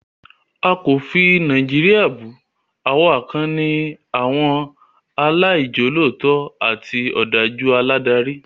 A kò fi Nàìjíríà bù, àwa kàn ní àwọn aláìjolótó àti òdájú aládarí